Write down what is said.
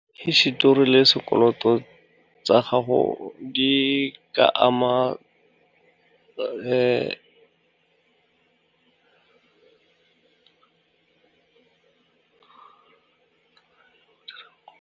Hisetori le sekoloto tsa gago di ka ama .